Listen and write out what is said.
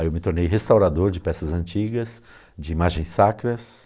Aí eu me tornei restaurador de peças antigas, de imagens sacras.